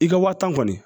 I ka waa tan kɔni